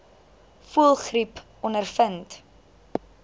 voëlgriep ondervind